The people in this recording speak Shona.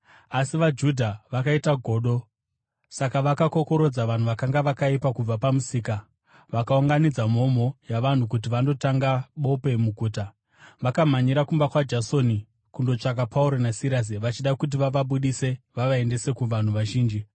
Asi vaJudha vakaita godo; saka vakakokorodza vanhu vakanga vakaipa kubva pamusika, vakaunganidza mhomho yavanhu kuti vandotanga bope muguta. Vakamhanyira kumba kwaJasoni kundotsvaka Pauro naSirasi vachida kuti vavabudise vavaendese kuvanhu vazhinji.